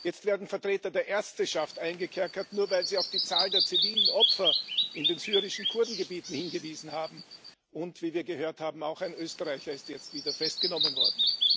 jetzt werden Vertreter der Ärzteschaft eingekerkert, nur weil sie auf die Zahl der zivilen Opfer in den syrischen Kurdengebieten hingewiesen haben, und, wie wir gehört haben, auch ein Österreicher ist jetzt wieder festgenommen worden.